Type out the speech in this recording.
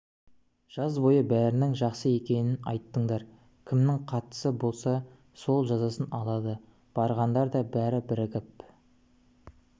жаз бойы бәрінің жақсы екенін айттыңдар кімнің қатысы болса сол жазасын алады барғандар да бәрі бірігіп